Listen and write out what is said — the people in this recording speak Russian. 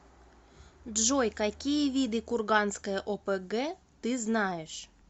джой какие виды курганская опг ты знаешь